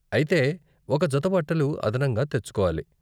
అయితే ఒక జత బట్టలు అదనంగా తెచ్చుకోవాలి.